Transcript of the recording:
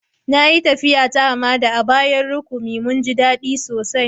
Na yi taffiya ta hamada a bayan rakumi. Mun ji dadi sosai.